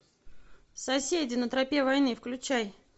соседи на тропе войны включай